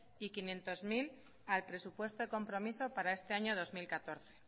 y quinientos mil al presupuesto de compromiso para este año dos mil catorce